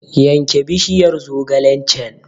Yanke bishiyar zogalen can!